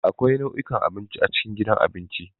Akwai nau'ikan abinci a cikin gidan abinci.